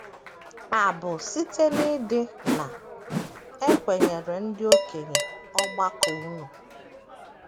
Abụ site n’ịdị na - ekwenyere ndị okenye ọgbakọ unu.